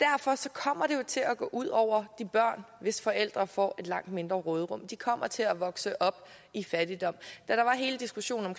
kommer det til at gå ud over de børn hvis forældre får et langt mindre råderum de kommer til at vokse op i fattigdom da der var hele diskussionen